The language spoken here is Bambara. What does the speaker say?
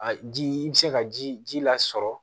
A ji i bɛ se ka ji ji lasɔrɔ